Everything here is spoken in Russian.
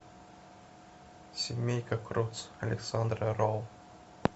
семейка крудс александра роу